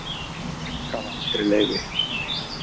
Gaf aldrei leyfi